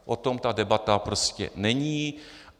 O tom ta debata prostě není.